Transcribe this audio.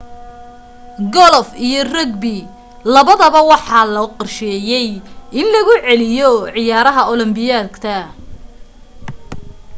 golof iyo rugby labadaba waxaa loo qorsheeyay in lagu celiyo ciyaaraha olombikada